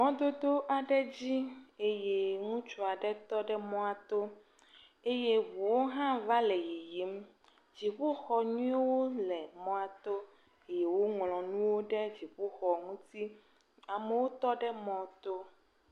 Mododo aɖe dzi eye ŋutsu aɖe tɔ ɖe mɔa to, ŋuwo hã va le yiyim. Dziƒoxɔ nyuiwo le mɔa to, eye woŋlɔ nuwo ɖe dziƒoxɔ ŋuti. Amewo tɔ ɖe mɔ to.